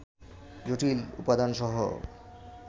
জটিল উপাদানসহ